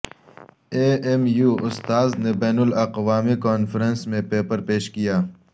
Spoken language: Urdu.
اے ایم یو استاذ نے بین الاقوامی کانفرنس میں پیپر پیش کیا